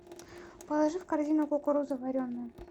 положи в корзину кукуруза вареная